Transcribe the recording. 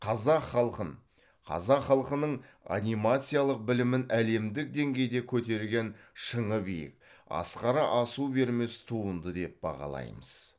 қазақ халқын қазақ халқының анимациялық білімін әлемдік деңгейде көтерген шыңы биік асқары асу бермес туынды деп бағалаймыз